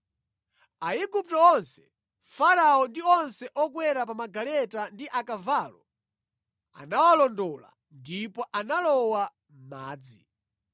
Aigupto onse, Farao, ndi onse okwera pa magaleta ndi akavalo anawalondola ndipo analowa mʼmadzi.